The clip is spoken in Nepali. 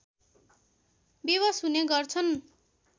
विवश हुने गर्छन्